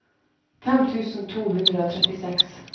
fem tusen to hundre og trettiseks